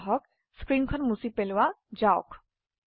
আহক স্ক্ৰীনখন মুছি পালোৱা যাওক